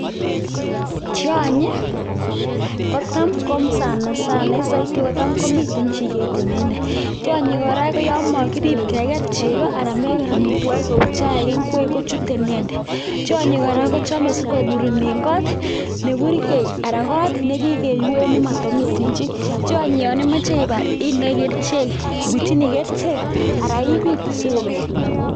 Tioonyi kotam ko sana sana en soiti kotam komiten chiket inendet, tionyi kora ko yoon mokirib keker cheko anan meker amitwokik kou chaik, ingwek kochute inendet, tionyi kora kochome sikoburunen koot neburkei anaan koot nekikeyuen nemotomiten chii, tionyi yoon imoche ibar indoi kerichek, ibutyini kerichek alaa ibiit sikobek.